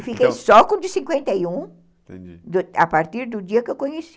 E fiquei só com o de cinquenta e um, entendi, a partir do dia que eu conheci.